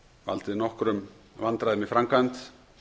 valdið nokkrum vandræðum í framkvæmd